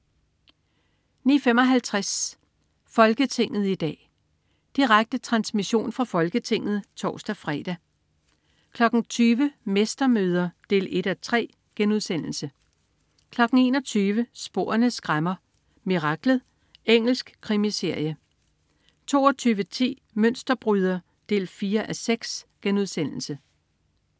09.55 Folketinget i dag. Direkte transmission fra Folketinget (tors-fre) 20.00 Mestermøder 1:3* 21.00 Sporene skræmmer: Miraklet. Engelsk krimiserie 22.10 Mønsterbryder 4:6*